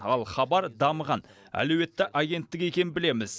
ал хабар дамыған әлеуетті агенттік екенін білеміз